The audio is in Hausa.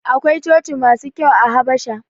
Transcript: Akwai coci-coci masu kyau a Habasha.